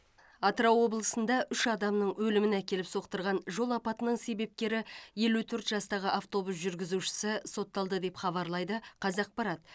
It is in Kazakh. атырау облысында үш адамның өліміне әкеліп соқтырған жол апатының себепкері елу төрт жастағы автобус жүргізушісі сотталды деп хабарлайды қазақпарат